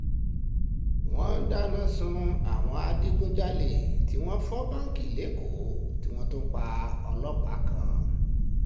wọ́n dáná sun àwọn adigunjalè tí wọ́n fọ báǹkì lọ́kọ̀ọ́ tí wọ́n tún pa ọlọ́pàá kan